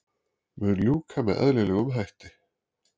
Mun ljúka með eðlilegum hætti